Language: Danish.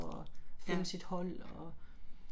Ja